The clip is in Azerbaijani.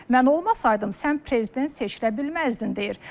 Mən olmasaydım, sən prezident seçilə bilməzdin deyir.